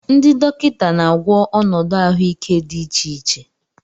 Ndị dọkịta na-agwọ ọnọdụ ahụike dị iche iche.